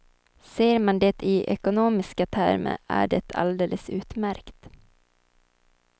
Ser man det i ekonomiska termer är det alldeles utmärkt.